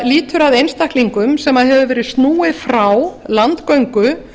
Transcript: lýtur að einstaklingum sem hefur verið snúið frá landgöngu